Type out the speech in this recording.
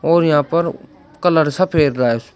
और यहां पर कलर सफेद --